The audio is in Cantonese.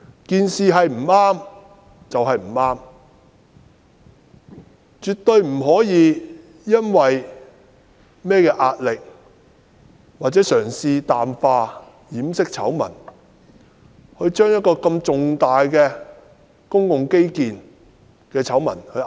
不對就是不對，絕對不可以因為甚麼壓力或嘗試淡化掩飾醜聞，而把一項這麼重大的公共基建醜聞壓下去。